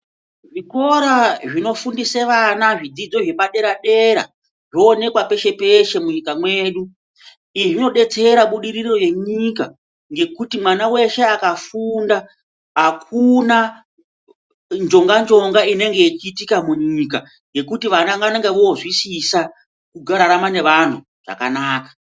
Zvikora zvinofundise vana zvidzidzo zvepadera dera zvoonekwa peshe peshe munyika mwedu. Izvi zvinodetsera budiriro yenyika ngekuti mwana weshe akafunda akuna njonga njonga inenge yeiitika munyika ngekuti vana vanenge vozwisisa kurarama nevantu zvakanaka.